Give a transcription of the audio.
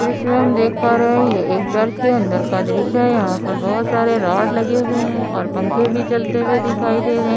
इस दृश्य में हम देख पा रहे हैं ये एक चर्च के अंदर का दृश्य है यहाँ पर बहौत सारे रॉड लगे हुए हैं और पंखे भी चलते हुए दिखाई दे रहे हैं।